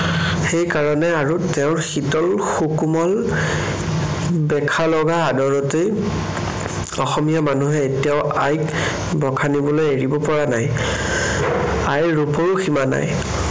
সেই কাৰণে আৰু তেওঁৰ শীতল সুকোমল বেথা লগা আদৰতেই অসমীয়া মানুহে এতিয়াও আইক বখানিবলৈ এৰিব পৰা নাই, আইৰ ৰূপৰো সীমা নাই।